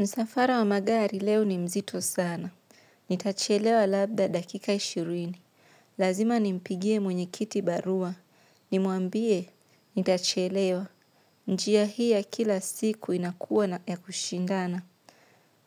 Msafara wa magari leo ni mzito sana. Nitachelewa labda dakika ishirini. Lazima nimpigie mwenye kiti barua. Nimuambie, nitachelewa. Njia hii ya kila siku inakuwa na ya kushindana.